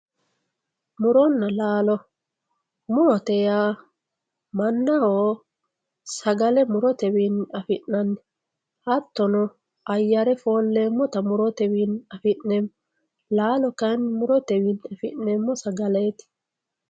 muronna laalo murote yaa mannaho sagale murotewiinni afi'nanni hattono ayyare foolleemmota murotewiinni afi'neemmo laalo kayiinni murotewiinni afi'neemmo sagaleeti.